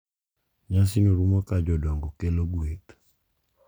Nyasino rumo ka jodongo kelo gweth,